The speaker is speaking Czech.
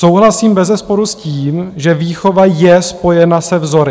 Souhlasím bezesporu s tím, že výchova je spojena se vzory.